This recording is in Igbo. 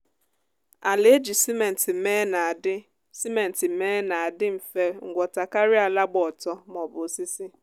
ala eji simenti mee na-adi simenti mee na-adi mfe ngwọta karịa ala gba ọtọ maọbụ osisi